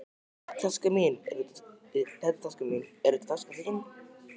Þetta er taskan mín. Er þetta taskan þín?